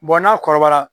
n'a kɔrɔbayara